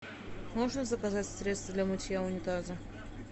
можно заказать средство для мытья унитаза